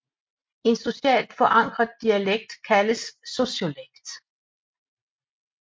En socialt forankret dialekt kaldes sociolekt